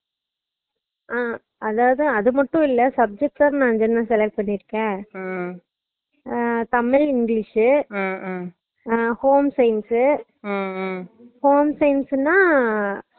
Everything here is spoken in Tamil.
அஹ் அதாவது அது மட்டும் இல்ல subject அ நா அஞ்சு select பண்ணிருகன் அஹ் தமிழ் english அஹ் home science உ